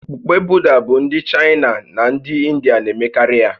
Okpukpe Buda bụ ndị Chaịna na ndị Indịa na-emekarị ya